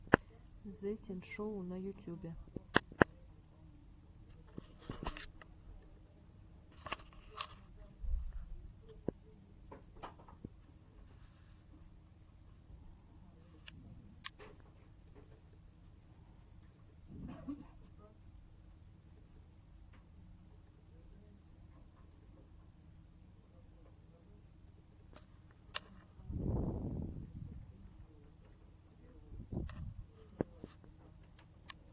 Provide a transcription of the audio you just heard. зэ синшоу на ютюбе